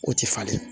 O tɛ falen